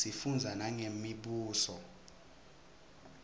sifundza nangemibuso